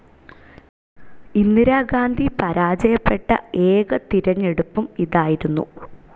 ഇന്ധിരാഗാന്ധി പരാജയപ്പെട്ട ഏക തിരഞ്ഞെടുപ്പും ഇതായിരുന്നു.